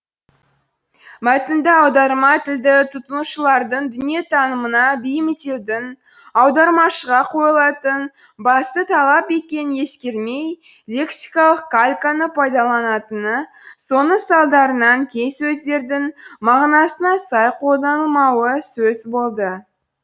мәтінді аударма тілді тұтынушылардың дүниетанымына бейімдеудің аудармашыға қойылатын басты талап екенін ескермей лексикалық кальканы пайдаланатыны соның салдарынан кей сөздердің мағынасына сай қолданылмауы сөз болды